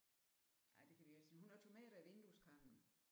Ej det kan vi jo ikke men hun har tomater i vindueskarmen